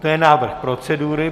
To je návrh procedury.